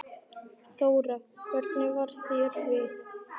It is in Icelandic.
Þóra: Hvernig varð þér við?